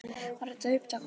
Var þetta upptakturinn?